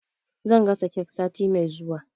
Zan gasa kek sati mai zuwa.